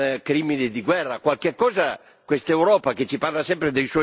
Qualche cosa questa Europa che ci parla sempre dei suoi valori dovrebbe dirla.